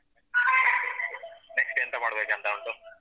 next ಎಂತ ಮಾಡ್ಬೇಕಂತ ಉಂಟು?